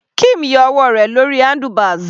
Kim yọ ọwọ́ rẹ̀ lórí handlebars.